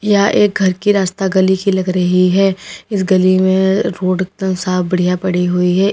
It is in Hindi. यह एक घर की रास्ता गली की लग रही है इस गली में रोड एकदम साफ बढ़िया पड़ी हुई है।